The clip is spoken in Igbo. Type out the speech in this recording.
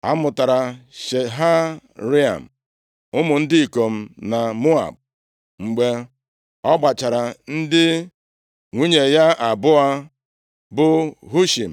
A mụtara Shaharaim ụmụ ndị ikom na Moab mgbe ọ gbachara ndị nwunye ya abụọ bụ Hushim